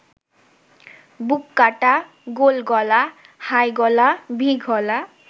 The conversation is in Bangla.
বুককাটা, গোলগলা, হাইগলা, ভি-গলা